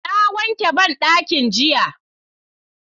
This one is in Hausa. Na wanke banɗaki jiya